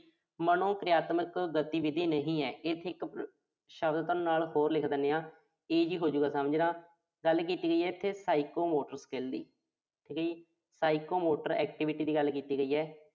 ਮਨੋਕਿਰਿਆਤਮਕ ਗਤੀਵਿਧੀ ਨਹੀਂ ਹੈ। ਇੱਥੇ ਇੱਕ ਅਹ ਸ਼ਬਦ ਨਾਲ ਹੋਰ ਲਿਖ ਦਿਨੇ ਆਂ। easy ਹੋਜੂ ਗਾ ਸਮਝਣਾ। ਗੱਲ ਕੀਤੀ ਹੋਈ ਆ ਇਥੇ Psychomotor skill ਦੀ। Psychomotor activity ਦੀ ਗੱਲ ਕੀਤੀ ਗਈ ਆ।